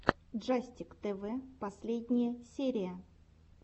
джастик тэвэ последняя серия